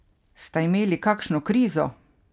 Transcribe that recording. Sta imeli kakšno krizo?